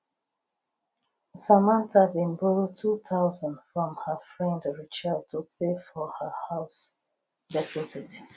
samantha been borrow 2000 from her friend rachel to pay for house deposit